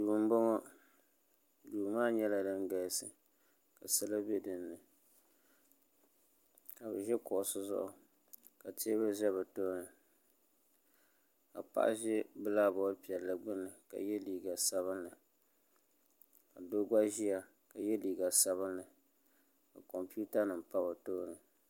Duu n boŋo dui maa nyɛla din galisi ka salo bɛ dinni ka bi ʒi kuɣusi zuɣu ka teebuli ʒɛ bi tooni ka paɣa ʒi bilak bood piɛlli gbuni ka yɛ liiga sabinli ka doo gba ʒiya ka yɛ liiga sabinli ka kompiuta nim pa bi tooni